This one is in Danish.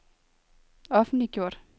offentliggjort